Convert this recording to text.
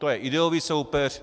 To je ideový soupeř.